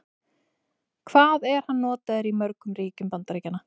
Hvað er hann notaður í mörgum ríkjum Bandaríkjanna?